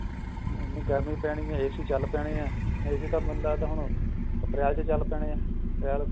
ਗਰਮੀ ਪੈਣੀ ਐ AC ਚਲ ਪੈਣੇ ਐ AC ਤਾਂ ਮੈਨੂੰ ਲੱਗਦਾ ਹੁਣ ਅਪ੍ਰੈਲ ਚ ਚਲ ਪੈਣੇ ਆ ਅਪ੍ਰੈਲ